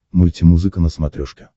мультимузыка на смотрешке